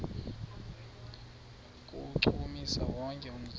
kuwuchukumisa wonke umzimba